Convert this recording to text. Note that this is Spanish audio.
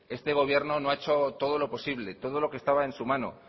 este gobierno no ha hecho todo lo posible todo lo que estaba en su mano